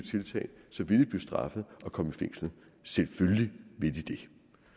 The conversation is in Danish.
straffet og komme i fængsel selvfølgelig vil de det